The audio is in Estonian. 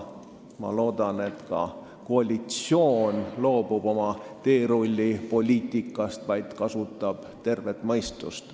Ma loodan, et koalitsioon loobub oma teerullipoliitikast ja kasutab tervet mõistust.